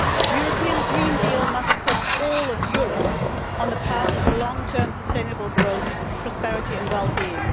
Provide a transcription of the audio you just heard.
The European Green deal must put all of Europe on the path to long term sustainable growth, prosperity and well being.